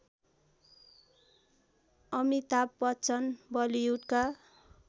Amitabh Bachchan बलिउडका